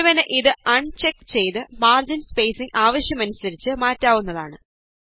ഒരുവന് ഇത് അണ് ചെക് ചെയ്ത് മാര്ജിന് സ്പേസിംഗ് ആവശ്യകതയനുസരിച്ച് മാറ്റാവുന്നതാണ്